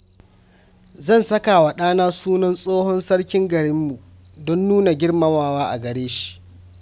Zan saka wa ɗana sunan tsohon sarkin garinmu don nuna girmamawa a gare shi.